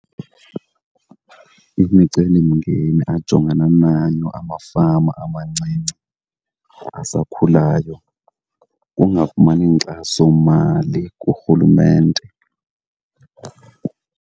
Imicelimngeni ajongana nayo amafama amancinci asakhulayo kungafumani nkxasomali kurhulumente.